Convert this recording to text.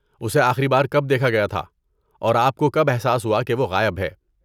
اسے آخری بار کب دیکھا گیا تھا اور آپ کو کب احساس ہوا کہ وہ غائب ہے؟